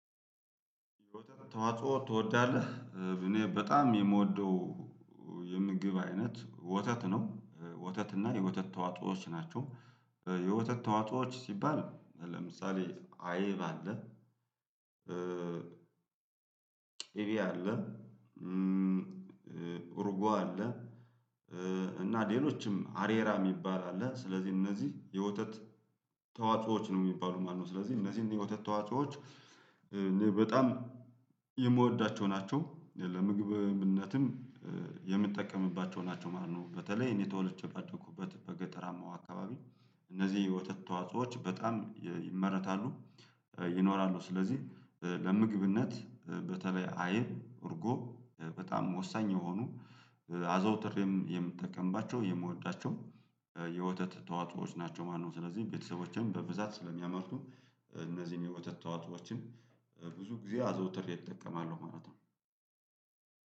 ተዋጽኦ ትወዳለህ እኔ በጣም የምወደው የምግብ አይነት ወተት ነው። ወተት እና የወተት ተዋጾዎች ናቸው። የወተት ተዋጾዎች ሲባል ለምሳሌ አይብ አለ። ቂቤ አለ። እርጎ አለ። እና ሌሎችም አሬራ የሚባል አለ። ስለዚህ እነዚህ የወተት ተዋዎዖች ነው የሚባሉ ማነው? ስለዚህ እነዚህን የወተት ተዋዖዎች በጣም የምወዳቸው ናቸው። ለምግብነትም የምጠቀምባቸው ናቸው ማለት ነው። በተለይ እኔ ተወልጄ ባደኩበት በገጠራማው አካባቢ እነዚህ የወተት ተዋጾዎች በጣም ይመረታሉ። ይኖራሉ ስለዚህ ለምግብነት በተለይ አይብ እርጎ በጣም ወሳኝ የሆኑ። አዘውትሬም የምትጠቀምባቸው የምወዳቸው የወተት ተዋጽኦዎች ናቸው ማለት ነው። ስለዚህ ቤትሰቦቼን በብዛት ስለሚያመርቱ እነዚህን የወተት ተዋፅዎችን ብዙ ጊዜ አዘውትሬ እጠቀማለው ማለት ነው።